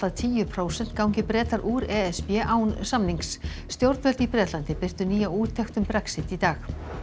tíu prósent gangi Bretar úr e s b án samnings stjórnvöld í Bretlandi birtu nýja úttekt um Brexit í dag